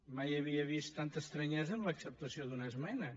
mai havia vist tanta estranyesa en l’acceptació d’una esmena